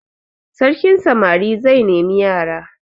Sarkin samari zai nemi yara.